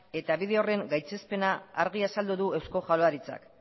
eta bide horren gaitzespena argi azaldu du eusko jaurlaritzak